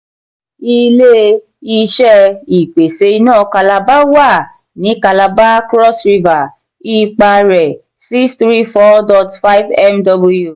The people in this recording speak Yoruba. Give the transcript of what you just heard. ilé-iṣé ìpèsè iná calabar wà ní calabar cross river; ipá rẹ: six three four dot five mw